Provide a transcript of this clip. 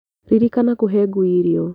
Ririkana kũhe ngui irio.